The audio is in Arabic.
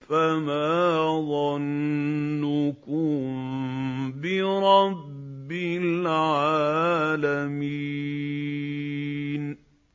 فَمَا ظَنُّكُم بِرَبِّ الْعَالَمِينَ